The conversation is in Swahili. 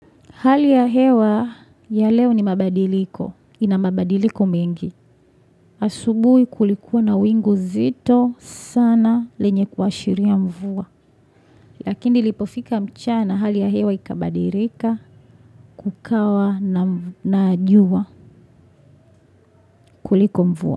Hali ya hewa ya leo ni mabadiliko. Inamabadiliko mengi. Asubui kulikuwa na wingu zito sana lenye kuashiria mvua. Lakini ilipofika mchana hali ya hewa ikabadilika kukawa na jua kuliko mvua.